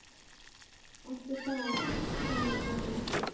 Ekki það hún man.